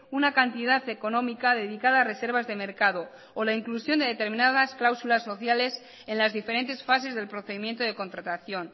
una cantidad económica dedicada a reservas de mercado o la inclusión de determinadas cláusulas socialesen las diferentes fases del procedimiento de contratación